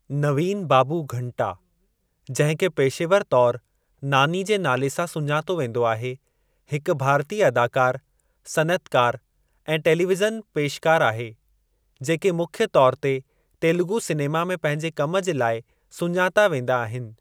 नवीन बाबू घंटा, जिंहिं खे पेशेवरु तौरु नानी जे नाले सां सुञातो वेंदो आहे , हिकु भारतीय अदाकार, सनइतकारु ऐं टेलीविजन पेशकारु आहे , जेके मुख्य तौरु ते तेलुगु सिनेमा में पंहिंजे कम जे लाइ सुञाता वेंदा आहिनि।